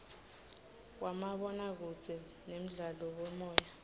wamabonakudze nemdlalo wemoya